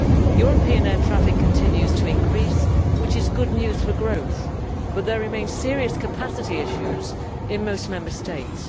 European air traffic continues to increase, which is good news for growth, but there remain serious capacity issues in most Member States.